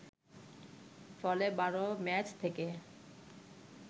ফলে ১২ ম্যাচ থেকে